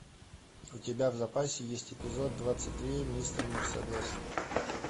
у тебя в запасе есть эпизод двадцать три мистер мерседес